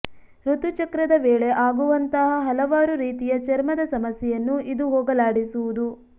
ಋತುಚಕ್ರದ ವೇಳೆ ಆಗುವಂತಹ ಹಲವಾರು ರೀತಿಯ ಚರ್ಮದ ಸಮಸ್ಯೆಯನ್ನು ಇದು ಹೋಗಲಾಡಿಸುವುದು